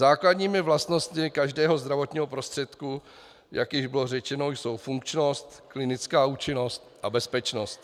Základními vlastnostmi každého zdravotního prostředku, jak již bylo řečeno, jsou funkčnost, klinická účinnost a bezpečnost.